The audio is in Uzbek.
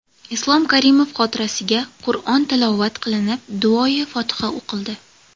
Islom Karimov xotirasiga Qur’on tilovat qilinib, duoi fotiha o‘qildi.